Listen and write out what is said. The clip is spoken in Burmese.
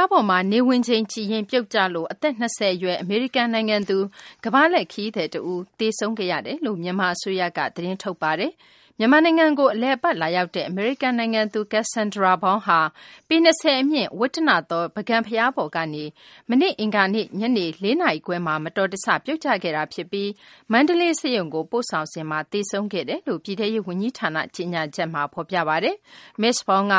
ားပေါ်မှာ နေဝင်ချိန်ကြည့်ရင်း ပြုတ်ကျလို့ အသက် ၂၀ အရွယ် အမေရိကန် နိုင်ငံသား ကမ္ဘာလှည့် ခရီးသည် တဦး သေဆုံးခဲ့ရတယ်လို့ မြန်မာ အစိုးရက သတင်းထုတ်ပါတယ်။ မြန်မာနိုင်ငံကို အလည်အပတ် လာရောက်တဲ့ အမေရိကန် နိုင်ငံသူ Kassandra Braun ဟာ ပေ ၂၀ အမြင့် - ဝတ္တနသော ပုဂံဘုရားပေါ်ကနေ မနေ့ အင်္ဂါနေ့ ညနေ ၄ နာရီခွဲမှာ မတော်တဆ ပြုတ်ကျခဲ့တာ ဖြစ်ပြီး မန္တလေး ဆေးရုံကိုပို့ဆောင်စဉ်မှာ သေဆုံးခဲ့တယ်လို့ ပြည်ထဲရေး ဝန်ကြီးဌာန ကြေညာချက်မှာ ဖော်ပြပါတယ်။ မစ္စ Braun က